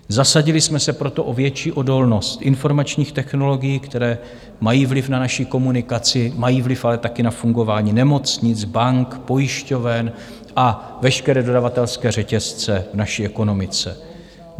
Zasadili jsme se proto o větší odolnost informačních technologií, které mají vliv na naši komunikaci, mají vliv ale také na fungování nemocnic, bank, pojišťoven a veškeré dodavatelské řetězce v naší ekonomice.